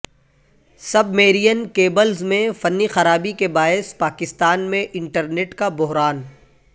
سب marine cables میں فنی خرابی کے باعث پاکستان میں انٹرنیٹ کا بحران